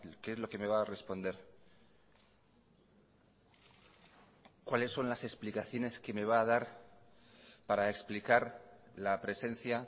qué es lo que me va a responder cuáles son las explicaciones que me va a dar para explicar la presencia